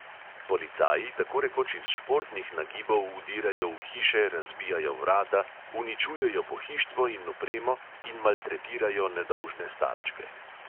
Policaji tako rekoč iz športnih nagibov vdirajo v hiše, razbijajo vrata, uničujejo pohištvo in opremo in maltretirajo nedolžne starčke.